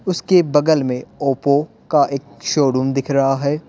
उसके बगल में ओप्पो का एक शोरूम दिख रहा है।